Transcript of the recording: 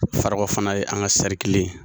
Farakɔ fana ye an ka ye